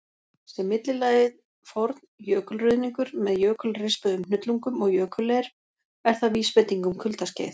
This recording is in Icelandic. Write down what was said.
Sé millilagið forn jökulruðningur, með jökulrispuðum hnullungum og jökulleir, er það vísbending um kuldaskeið.